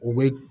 U bɛ